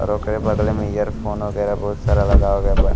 और ओकरे बगले में इयरफोन वगेरा बोहोत सारा लगावल गइल बा।